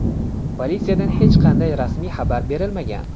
Politsiyada hech qanday rasmiy xabar berilmagan.